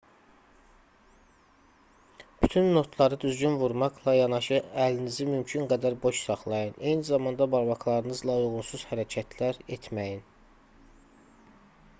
bütün notları düzgün vurmaqla yanaşı əlinizi mümkün qədər boş saxlayın eyni zamanda barmaqlarınızla uyğunsuz hərəkətlər etməyin